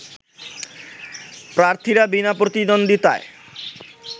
প্রার্থীরা বিনা প্রতিদ্বন্দ্বিতায়